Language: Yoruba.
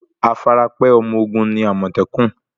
Afarapẹ́ ọmọ ogun ni àmọ̀tẹ́kùn.